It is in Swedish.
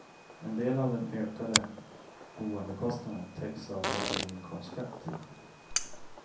En del av den ökade boendekostnaden täcks av lägre inkomstskatt.